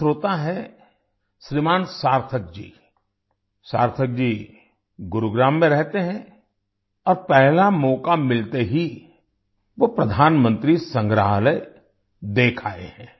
एक श्रोता हैं श्रीमान सार्थक जी सार्थक जी गुरुग्राम में रहते हैं और पहला मौका मिलते ही वो प्रधानमंत्री संग्रहालय देख आए हैं